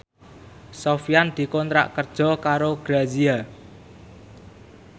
Sofyan dikontrak kerja karo Grazia